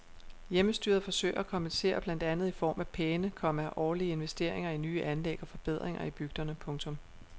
Hjemmestyret forsøger at kompensere blandt andet i form af pæne, komma årlige investeringer i nye anlæg og forbedringer i bygderne. punktum